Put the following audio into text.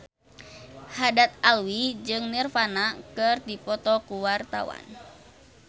Haddad Alwi jeung Nirvana keur dipoto ku wartawan